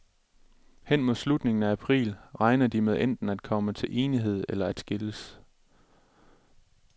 Hen mod slutningen af april regner de med enten at komme til enighed eller at skilles.